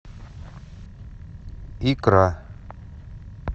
икра